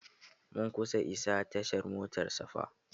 Mun kusa isa tashar motar safa.